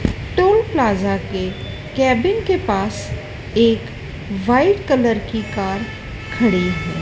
टुम plaza के cabin के पास एक वाइट कलर की कार खड़ी है।